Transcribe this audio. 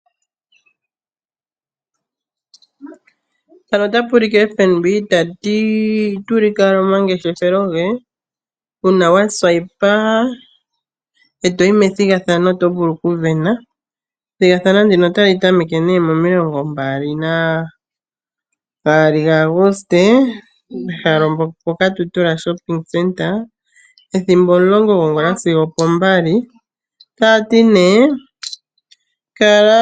Ombaanga yotango yopashigwana otayi ulike omangeshefelo gawo kutya uuna walingitha okakalata koye kombaanga yawo oto vulu okuya methigathano. Ethigathano otali tameke muga 2 Aguste, ehala okatutura shopping center ethimbo omulongo gwongula.